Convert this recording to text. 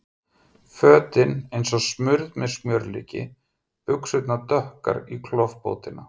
Fötin eins og smurð með smjörlíki, buxurnar dökkar í klofbótina.